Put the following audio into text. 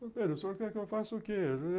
Falei, Pedro, o senhor quer que eu faça o quê?